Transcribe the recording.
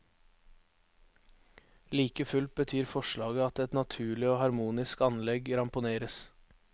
Like fullt betyr forslaget at et naturlig og harmonisk anlegg ramponeres.